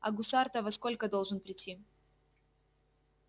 а гусар-то во сколько должен прийти